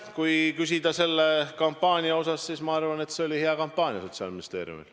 Kui küsida selle kampaania kohta, siis ma arvan, et see oli hea kampaania Sotsiaalministeeriumil.